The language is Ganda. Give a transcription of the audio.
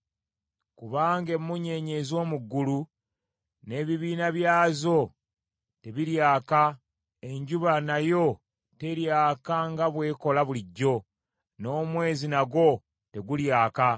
Kubanga emmunyeenye ez’omu ggulu n’ebibiina byazo tebiryaka; enjuba nayo teryaka nga bw’ekola bulijjo, n’omwezi nagwo tegulyaka.